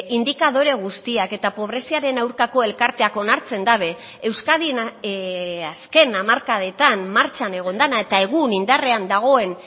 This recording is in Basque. indikadore guztiak eta pobreziaren aurkako elkarteak onartzen dabe euskadin azken hamarkadetan martxan egon dena eta egun indarrean dagoen